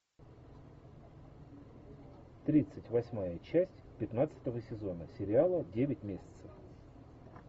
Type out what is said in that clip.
тридцать восьмая часть пятнадцатого сезона сериала девять месяцев